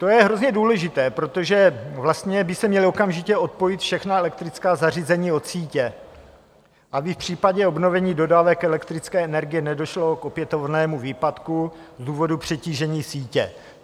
To je hrozně důležité, protože vlastně by se měla okamžitě odpojit všechna elektrická zařízení od sítě, aby v případě obnovení dodávek elektrické energie nedošlo k opětovnému výpadku z důvodu přetížení sítě.